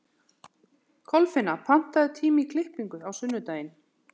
Kolfinna, pantaðu tíma í klippingu á sunnudaginn.